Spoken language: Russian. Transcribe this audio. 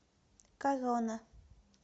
корона